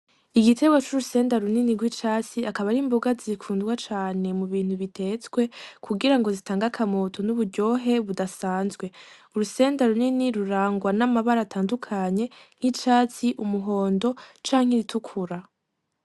Igitegwa c'urusenda runini rw'icatsi akaba ari imboga zikundwa cane mu bintu bitetswe kugirango zitange akamoto nuburyohe budasanzwe urusenda runini rurangwa n'amabara atandukanye nk'icatsi, umuhondo canke iritukura.